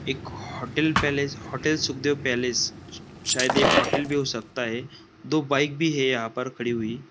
एक hotel palace hotel सुधे palace शायद ये होटल भी हो सकता है दो बाइक भी है यहाँ पे खड़ी हुई।